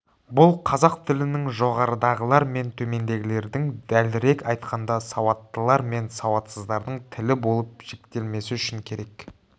бұл қазақ тілінің жоғарыдағылар мен төмендегілердің дәлірек айтқанда сауаттылар мен сауатсыздардың тілі болып жіктелмесі үшін керек